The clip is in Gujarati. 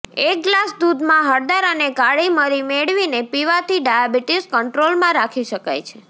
એક ગ્લાસ દૂધમાં હળદર અને કાળી મરી મેળવીને પીવાથી ડાયાબિટીસ કંટ્રોલમાં રાખી શકાય છે